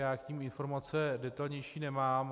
Já k nim informace detailnější nemám.